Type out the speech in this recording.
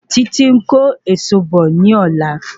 Títí ń kó èso bò ní ọ̀lá